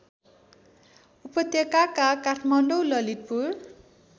उपत्यकाका काठमाडौँ ललितपुर